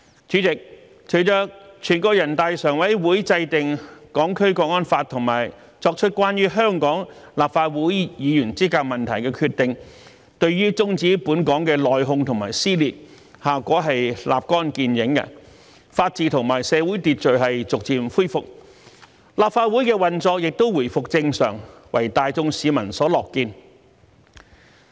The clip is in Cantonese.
主席，隨着全國人大常委會制定《香港國安法》及作出關於香港立法會議員資格問題的決定，對於終止本港的內訌和撕裂，效果立竿見影，法治和社會秩序逐漸恢復，立法會的運作也回復正常，為大眾市民所樂見。